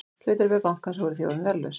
Hlutabréf bankans voru því orðin verðlaus